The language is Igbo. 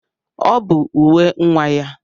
Ọ bụ uwe nwa ya.